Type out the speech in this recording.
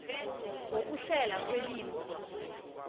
ngokuhlelwa kwelimi kunye